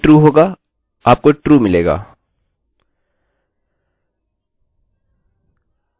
इनमें से कोई भी true होगा आपको true मिलेगा